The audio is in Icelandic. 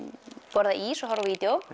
borða ís og horfi